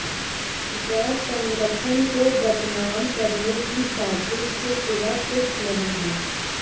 वह संगठन को बदनाम करने की साजिश के सिवा कुछ नहीं है